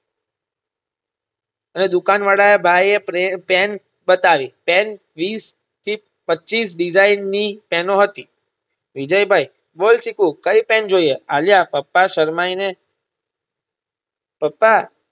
દુકાન વાળા ભાઈએ પ્રે પેન બતાવી પેન વિસ થી પચીસ Design ની પેનો હતી વિજયભાઈ બોલ ચીકુ કઈ પેન જોઈએ આલ્યા પપ્પા સરમાયને પપ્પા